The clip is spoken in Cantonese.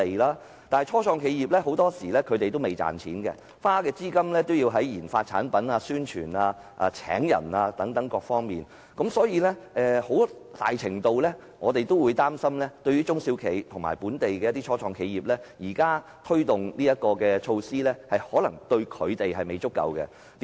然而，初創企業很多時候未有盈利，在研發產品、宣傳、招聘員工等各方面亦要花費資金，所以，對於中小企及一些本地初創企業，我們擔心現時推動的措施未必足夠。